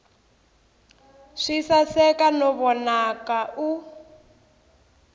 swi saseka no vonaka u